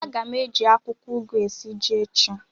A ga m eji akwụkwọ ugu esi ji echi.